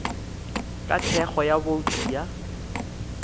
ka thekgo ya bouto ya